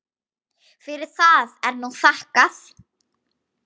Fyrir það er nú þakkað.